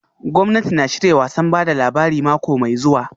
Gwamnati na shirya wasan ba da labari mako mai zuwa